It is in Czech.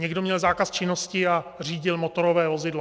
Někdo měl zákaz činnosti a řídil motorové vozidlo.